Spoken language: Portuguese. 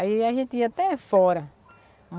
Aí a gente ia até fora.